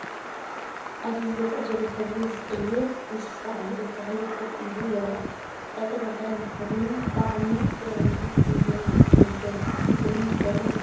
ኣብዚ ዝርአ ዘሎ ሕብሩ ዝቕይር እንስሳ ኣብ ልዕሊ ተኽሊ ኮፍ ኢሉ ይርአ። ቀጠልያ ክዳን ተኸዲኑ ብዓሚቕ ኣዒንቲ ንየው ነጀው ዝጥምት ዘሎ ይመስል።